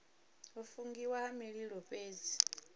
u fungiwa ha mililo fhethu